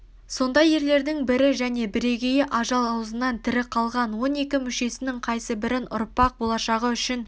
сондай ерлердің бірі және бірегейі ажал аузынан тірі қалған он екі мүшесінің қайсыбірін ұрпақ болашағы ушін